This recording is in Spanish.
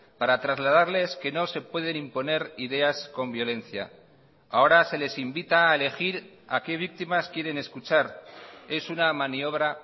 para trasladarles que no se pueden imponer ideas con violencia ahora se les invita a elegir a qué víctimas quieren escuchar es una maniobra